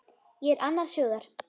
Ég er annars hugar.